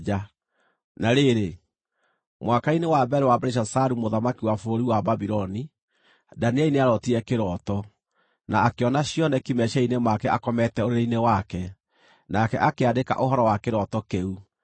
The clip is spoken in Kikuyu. Na rĩrĩ, mwaka-inĩ wa mbere wa Belishazaru mũthamaki wa bũrũri wa Babuloni, Danieli nĩarootire kĩroto, na akĩona cioneki meciiria-inĩ make akomete ũrĩrĩ-inĩ wake. Nake akĩandĩka ũhoro wa kĩroto kĩu.